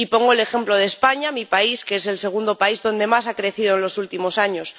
Y pongo el ejemplo de España, mi país, que es el segundo país donde más ha crecido en los últimos años.